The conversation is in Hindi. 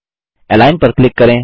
अलिग्न पर क्लिक करें